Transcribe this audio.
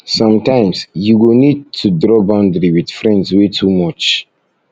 sometimes you go need go need to draw boundary with friends wey too much